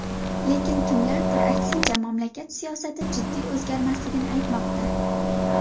Lekin kimlardir, aksincha, mamlakat siyosati jiddiy o‘zgarmasligini aytmoqda.